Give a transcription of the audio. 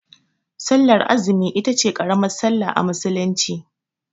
Sallar azumi itace ƙaramar sallah a musulunci